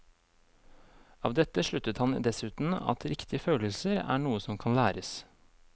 Av dette sluttet han dessuten at riktige følelser er noe som kan læres.